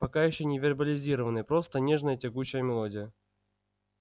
пока ещё не вербализированный просто нежная тягучая мелодия